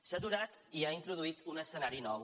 s’ha aturat i ha introduït un escenari nou